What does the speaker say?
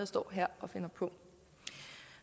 står her og finder på